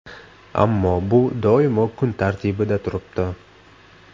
Ammo bu doimo kun tartibida turibdi.